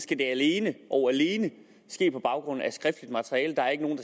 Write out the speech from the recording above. det alene og alene ske på baggrund af skriftligt materiale der er ikke nogen